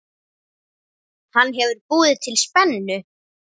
Hann hefur búið til spennu.